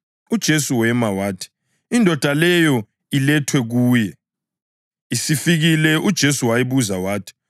UJesu wema wathi indoda leyo ilethwe kuye. Isifikile uJesu wayibuza wathi,